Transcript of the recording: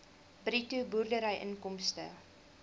bruto boerderyinkomste